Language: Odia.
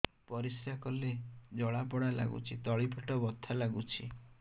ପରିଶ୍ରା କଲେ ଜଳା ପୋଡା ଲାଗୁଚି ତଳି ପେଟ ବଥା ଲାଗୁଛି